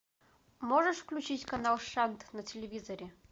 можешь включить канал шант на телевизоре